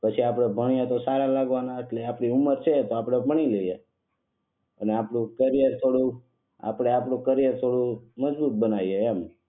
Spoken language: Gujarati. પછી આપણે ભણીએ તો આપણે સારા લાગવાના? આપણી ઉંમર છે તો ભણી લઈયે. અને આપડે આપણું કરિયર થોડું મજબૂત બનાવીયે એમ